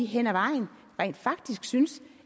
hen ad vejen rent faktisk synes